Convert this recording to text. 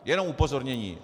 Jenom upozornění.